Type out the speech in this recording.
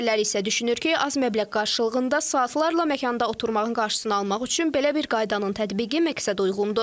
Digərləri isə düşünür ki, az məbləğ qarşılığında saatlarla məkanda oturmağın qarşısını almaq üçün belə bir qaydanın tətbiqi məqsədəuyğundur.